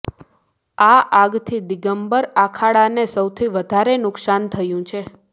આ આગથી દિગંબર આખાડાને સૌથી વધારે નુકસાન થયું છે